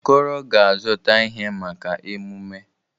Okoro ga-azụta ihe, maka emume.